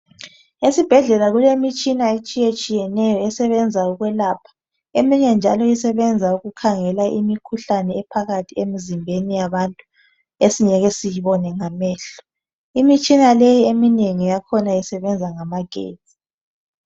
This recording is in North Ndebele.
Esibhedlela kulemitshina etshiyetshiyeneyo esebenza okwelapha. Eminye njalo isebenza ukukhangela imikhuhlane ephakathi emzimbeni yabantu esingeke siyibone ngamehlo. Imitshina leyi eminengi yakhona isebenza ngamagetsi.